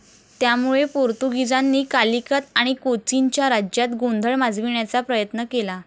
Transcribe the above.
त्यामुळे पोर्तुगीजांनी कालिकत आणि कोचीनच्या राज्यात गोंधळ माजविण्याचा प्रयत्न केला.